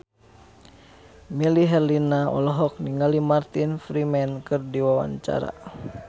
Melly Herlina olohok ningali Martin Freeman keur diwawancara